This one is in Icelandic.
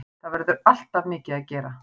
Það verður alltof mikið að gera